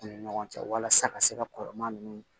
U ni ɲɔgɔn cɛ walasa ka se ka kɔrɔmaya ninnu